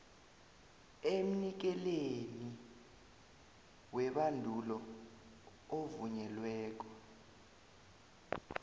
emnikelini webandulo ovunyelweko